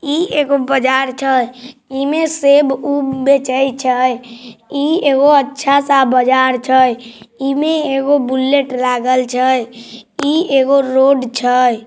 इ एगो बाजार छय ई मै सेब-ऊब बेचै छय| इ एगो अच्छा सा बाजार छय इमें एगो बुलेट लागल छय इ एगो रोड छय।